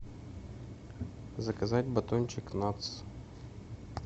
заказать батончик натс